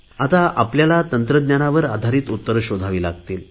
आता आपल्याला तंत्रज्ञानावर आधारित उत्तर शोधावी लागतील